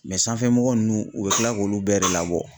sanfɛmɔgɔ ninnu u bɛ tila k'olu bɛɛ de labɔ.